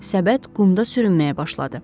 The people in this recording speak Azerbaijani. Səbət qumda sürünməyə başladı.